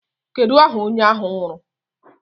Kedu aha onye ahụ nwụrụ?